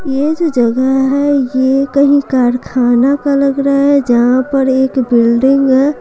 यह जो जगह है यह कहीं कारखाना का लग रहा है जहां पर एक बिल्डिंग है।